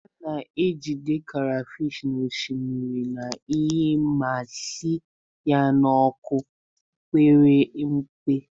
A na-ejide crayfish n'osimiri na iyi ma sie ya n'ọkụ mepere emepe.